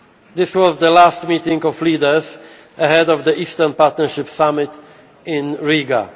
East. This was the last meeting of leaders ahead of the Eastern Partnership summit in